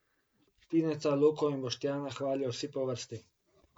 Tineta, Luko in Boštjana hvalijo vsi po vrsti.